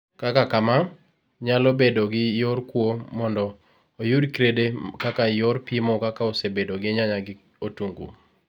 kaka kamaa, nyalo bedo gi yor kuo mondo oyud krede kaka yor pimo kaka osebedo gi nyanya gi otungu